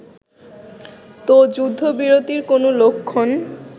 ত যুদ্ধবিরতির কোন লক্ষণ